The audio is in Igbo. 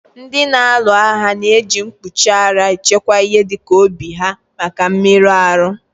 Ndị na-alu agha na èji mkpuchi ara echekwa ihe dịka obi ha maka mmerụ ahụ